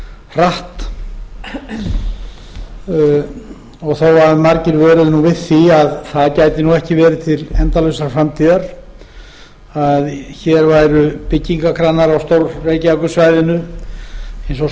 hratt og þó að margir vöruðu við því að það gæti ekki verið til endalausrar framtíðar að hér væru byggingakranar á stór reykjavíkursvæðinu eins og